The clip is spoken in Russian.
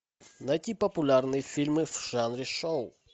найти популярные фильмы в жанре шоу